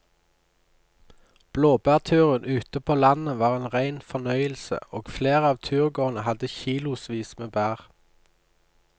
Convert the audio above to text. Blåbærturen ute på landet var en rein fornøyelse og flere av turgåerene hadde kilosvis med bær.